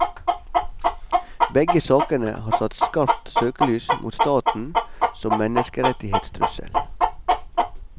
Begge sakene har satt skarpt søkelys mot staten som menneskerettighetstrussel.